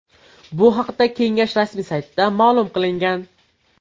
Bu haqda kengash rasmiy saytida ma’lum qilingan .